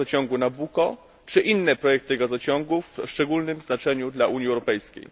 projekt gazociągu Nabucco czy inne projekty gazociągów o szczególnym znaczeniu dla Unii Europejskiej.